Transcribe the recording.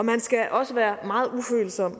man skal også være meget ufølsom